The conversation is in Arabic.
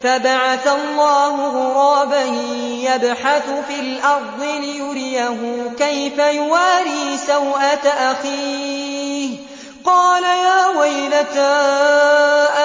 فَبَعَثَ اللَّهُ غُرَابًا يَبْحَثُ فِي الْأَرْضِ لِيُرِيَهُ كَيْفَ يُوَارِي سَوْءَةَ أَخِيهِ ۚ قَالَ يَا وَيْلَتَا